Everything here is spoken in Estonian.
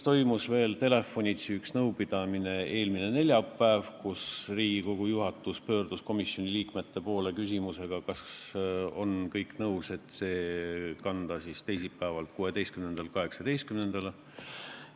Toimus ka üks telefonitsi nõupidamine eelmisel neljapäeval: Riigikogu juhatus pöördus komisjoni liikmete poole küsimusega, kas kõik on nõus, et kanda esimene lugemine teisipäevalt, 16. oktoobrilt 18. kuupäevale.